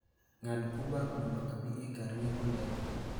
ng'ad uber mondo abi e kar ng'iepo ndege